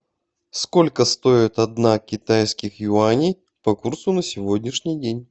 сколько стоит одна китайских юаней по курсу на сегодняшний день